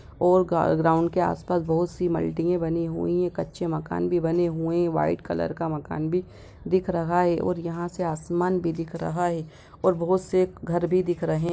और ग ग्राउंड के आस-पास बहुत सी मल्टीयें बनी हुई हैं कच्चे मकान भी बने हुए हैं वाइट कलर का मकान भी दिख रहा हैं और यहाँ से आसमान भी दिख रहा हैं और बहुत से घर भी दिख रहे --